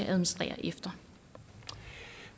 administrerer efter